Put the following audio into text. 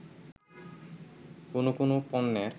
কোন কোন পণ্যের